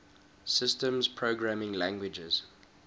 systems programming languages